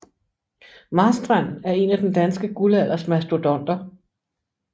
Marstrand er en af den danske guldalders mastodonter